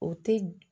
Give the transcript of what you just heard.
O tɛ